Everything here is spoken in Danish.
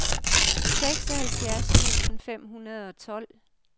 seksoghalvtreds tusind fem hundrede og tolv